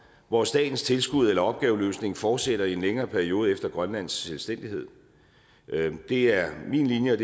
hvor statens tilskud eller opgaveløsning fortsætter i en længere periode efter grønlands selvstændighed det er min linje